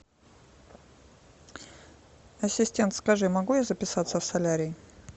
ассистент скажи могу я записаться в солярий